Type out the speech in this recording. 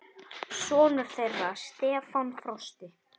Sonur þeirra Stefán Frosti.